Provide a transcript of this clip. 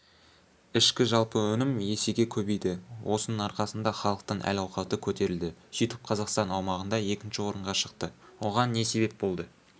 ішкі жалпы өнім есеге көбейді осының арқасында іалықтың әл-ауқаты көтерілді сөйтіп қазақстан аумағында екінші орынға шықты оған не себеп болды